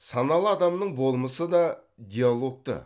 саналы адамның болмысы да диалогты